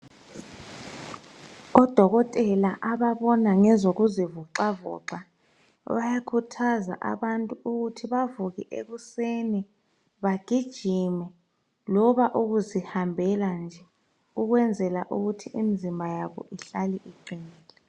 Odokotela ababona ngezokuzivoxavoxa bayakhuthaza abantu ukuthi bavuke ekuseni bagijima loba ukuzihambela nje ukwenzela ukuthi imizimba yabo ihlale iqinile